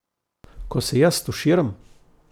Ko se jaz stuširam ...